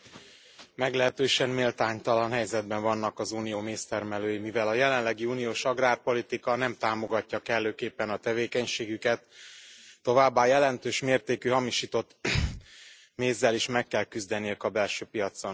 Elnök Asszony! Meglehetősen méltánytalan helyzetben vannak az Unió méztermelői, mivel a jelenlegi uniós agrárpolitika nem támogatja kellőképpen a tevékenységüket, továbbá jelentős mértékű hamisított mézzel is meg kell küzdeniük a belső piacon.